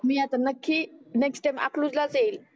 मी आता नखी next time आखलूजलाच येईल